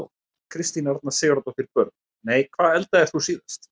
Kristín Arna Sigurðardóttir Börn: Nei Hvað eldaðir þú síðast?